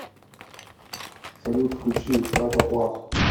салют включи саша плас